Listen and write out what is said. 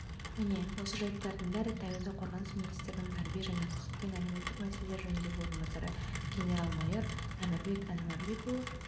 міне осы жәйттердің бәрін таяуда қорғаныс министрінің тәрбие және құқық пен әлеуметтік мәселелер жөніндегі орынбасары генерал-майор әмірбек әнуәрбекұлы